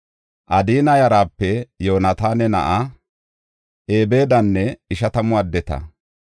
Adina yarape Yoonataana na7aa Ebeedanne ishatamu addeta.